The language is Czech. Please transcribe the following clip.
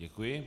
Děkuji.